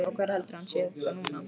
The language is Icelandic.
Og hvar heldurðu að hann sé þá núna?